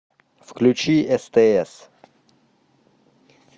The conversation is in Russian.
включи стс